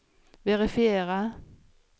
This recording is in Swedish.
verifiera